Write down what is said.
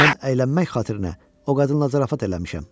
Mən əylənmək xatirinə o qadınla zarafat eləmişəm.